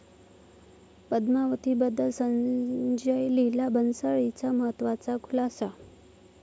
पद्मावती'बद्दल संजय लीला भन्साळींचा महत्त्वाचा खुलासा